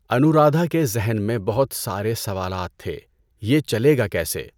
انورادھا کے ذہن میں بہت سارے سوالات تھے. یہ چلے گا کیسے؟